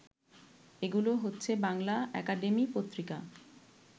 এগুলো হচ্ছে- বাংলা একাডেমি পত্রিকা